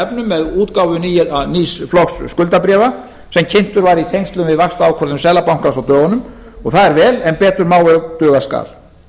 efnum með útgáfu nýs flokks skuldabréfa sem kynntur var í tengslum við vaxtaákvörðun seðlabankans á dögunum og það er vel en betur má ef duga skal